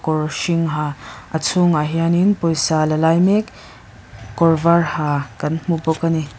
kawr hring ha a chhung hianin pawisa la lai mek kawr var ha kan hmu bawk ani.